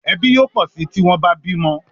Ẹbí yóò pọ sí tí wón bá bímo